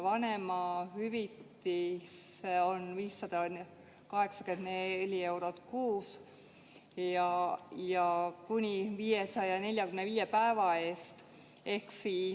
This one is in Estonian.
Vanemahüvitis on 584 eurot kuus ja seda makstakse kuni 545 päeva eest.